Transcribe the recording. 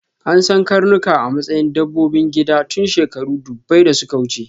An san karnuka a matsayin dabbobin gida tun shekaru ɗubbai da suka wuce.